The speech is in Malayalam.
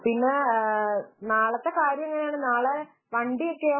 പിന്നെ നാളത്തെ കാര്യം എങ്ങനെയാണ് നാളെ വണ്ടിയൊക്കെയോ